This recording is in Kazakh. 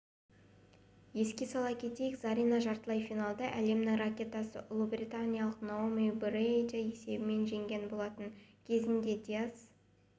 еске сала кетейік зарина жартылай финалда әлемнің ракеткасы ұлыбританиялық наоми брэдиді есебімен жеңген болатын кезінде дияс